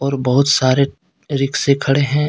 और बहुत सारे रिक्शे खड़े हैं.